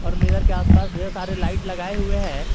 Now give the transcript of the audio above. और मिरर के आस पास ढेर सारे लाइट लगाए हुए हैं।